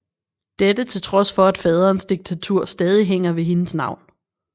Dette til trods for at faderens diktatur stadig hænger ved hendes navn